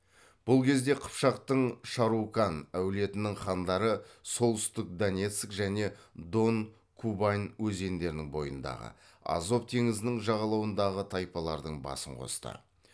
бұл кезде қыпшақтың шарукан әулетінің хандары солтүстік донецк және дон кубань өзендерінің бойындағы азов теңізінің жағалауындағы тайпалардың басын қосты